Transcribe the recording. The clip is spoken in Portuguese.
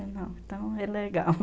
Então, é legal.